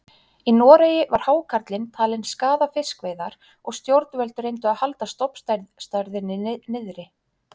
Í Noregi var hákarlinn talinn skaða fiskveiðar og stjórnvöld reyndu að halda stofnstærðinni niðri.